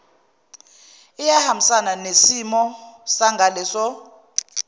iyahambisana nosimo sangaleso